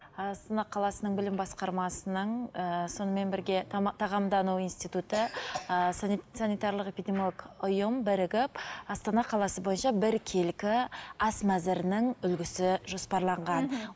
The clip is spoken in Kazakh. астана қаласының білім басқармасының ыыы сонымен бірге тағамдану институты ыыы санитарлық ұйым бірігіп астана қаласы бойынша біркелкі ас мәзірінің үлгісі жоспарланған